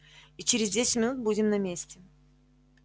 и через десять минут будем на месте